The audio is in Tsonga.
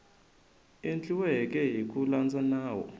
endliweke hi ku landza nawu